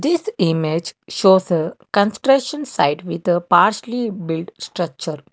this image shows a constrution site with a parsley build structure.